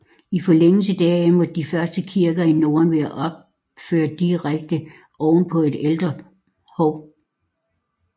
I forlængelse deraf måtte de første kirker i Norden være opført direkte ovenpå et ældre hov